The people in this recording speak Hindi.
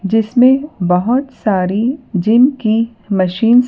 जिसमें बहोत सारी जिम की मशीन्स --